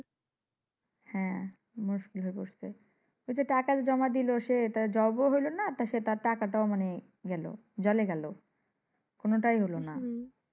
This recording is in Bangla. হ্যাঁ মুস্কিল হয়ে পড়ছে। ঐযে টাকা জমা দিল সে Job ও হইলোনা মানি সে তার টাকাটা ও গেলো। জলে গেলো কোনটাই হলো না।